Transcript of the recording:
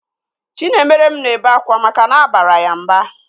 Chinaemerem na-ebe akwa maka na abara ya mba